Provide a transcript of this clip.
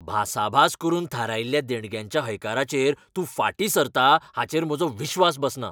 भासाभास करून थारायिल्ल्या देणग्यांच्या हयकाराचेर तूं फाटीं सरता हाचेर म्हजो विस्वास बसना .